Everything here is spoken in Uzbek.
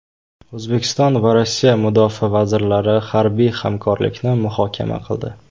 O‘zbekiston va Rossiya mudofaa vazirlari harbiy hamkorlikni muhokama qildi.